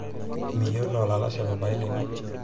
miyolo olalashe papailino